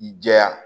I jɛya